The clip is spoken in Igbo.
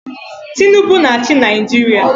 Tinubu na-achị Naijiria.